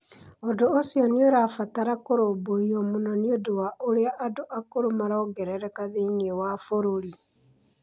Ũndũ ũcio nĩ ũrabatara kũrũmbũiyo mũno nĩ ũndũ wa ũrĩa andũ akũrũ marongerereka thĩinĩ wa bũrũri.